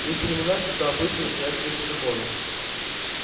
есть времена когда обычаи стоят выше законов